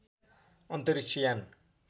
अन्तरिक्ष यान